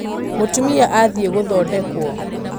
Mũtumia athiĩgũthondekwo.